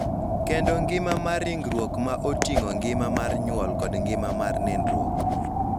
Kendo ngima mar ringruok ma oting�o ngima mar nyuol kod ngima mar nindruok.